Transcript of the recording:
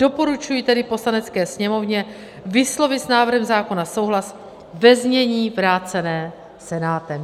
Doporučuji tedy Poslanecké sněmovně vyslovit s návrhem zákona souhlas ve znění vráceném Senátem.